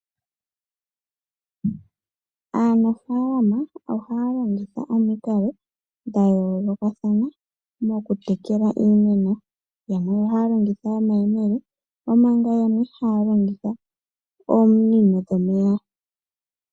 Aanafaalama ohaya longitha omikalo dha yoolokathana mokutekela iimeno. Yamwe ohaya longitha omayemele, omanga yamwe haya longitha ominino dhomeya.